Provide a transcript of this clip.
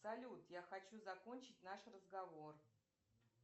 салют я хочу закончить наш разговор